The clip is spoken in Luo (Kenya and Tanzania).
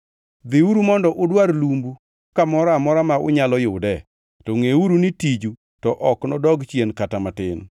Dhiuru mondo udwar lumbu kamoro amora ma unyalo yude, to ngʼeuru ni tiju to ok nodwok chien kata matin.’ ”